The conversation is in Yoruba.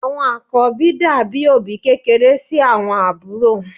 Àwọn àkọ́bí dàbí òbí kékeré sí àwọn àbúrò.